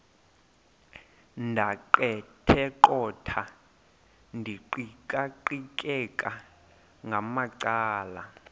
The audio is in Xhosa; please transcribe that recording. ndaqetheqotha ndiqikaqikeka ngamacala